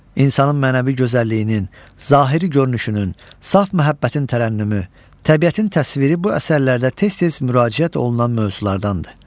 İnsanın mənəvi gözəlliyinin, zahiri görünüşünün, saf məhəbbətin tərənnümü, təbiətin təsviri bu əsərlərdə tez-tez müraciət olunan mövzulardandır.